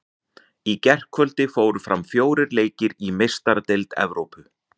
Í gærkvöldi fóru fram fjórir leikir í Meistaradeild Evrópu.